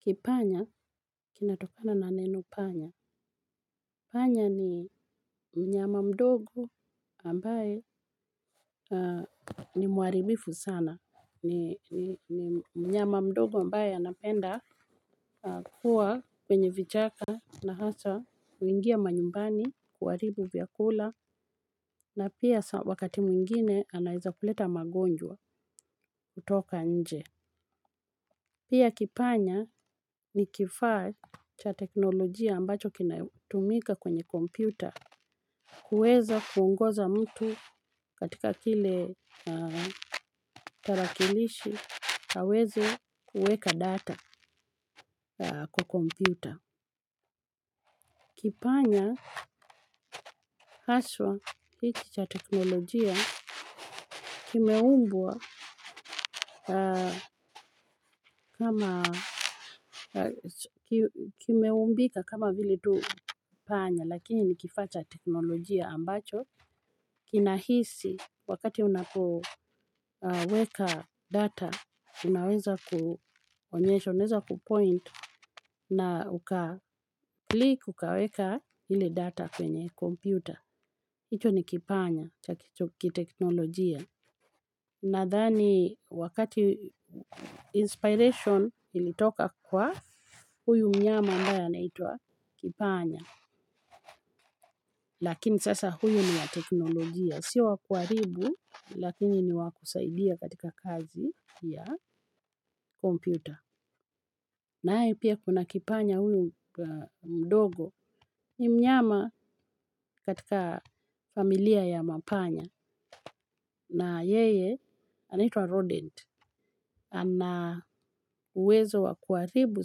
Kipanya kinatokana na neno panya. Panya ni mnyama mdogo ambaye ni muharibifu sana ni mnyama mdogo ambaye anapenda kuwa kwenye vichaka. Na hasa huingia manyumbani kuharibu vyakula na pia wakati mwingine anaeza kuleta magonjwa kutoka nje. Pia kipanya ni kifaa cha teknolojia ambacho kinatumika kwenye kompyuta. Kueza kuongoza mtu katika kile tarakilishi, aweze kuweka data kwa kompyuta. Kipanya haswa hiki cha teknolojia kimeumbwa kama kimeumbika kama vile tu panya lakini ni kifaa cha teknolojia ambacho kinahisi wakati unapoweka data unaweza kuonyesha unaeza kupoint na ukaclick ukaweka ile data kwenye computer. Hicho ni kipanya cha kiteknolojia. Nathani wakati inspiration ilitoka kwa huyu mnyama ambaye anaitwa kipanya. Lakini sasa huyu ni wa teknolojia. Sio wa kuharibu lakini ni wa kusaidia katika kazi ya kompyuta. Naye pia kuna kipanya huyu mdogo ni mnyama katika familia ya mapanya. Na yeye, anaitwa rodent, ana uwezo wa kuharibu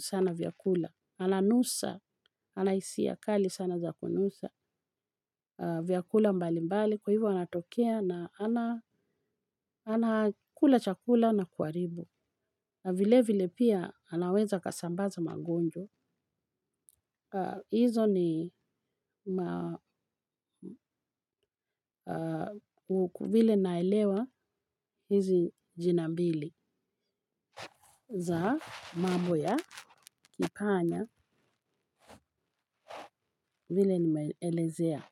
sana vyakula, ananusa, ana hisia kali sana za kunusa vyakula mbali mbali, kwa hivyo anatokea na anakula chakula na kuharibu. Na vile vile pia anaweza akasambaza magonjwa hizo ni vile naelewa hizi jina mbili za mambo ya kipanya vile nimeelezea.